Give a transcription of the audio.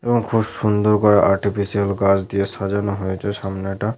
এবং খুব সুন্দর করে আর্টিফিসিয়াল গাছ দিয়ে সাজানো হয়েছে সামনেটা।